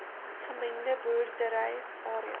gemengde boerdery areas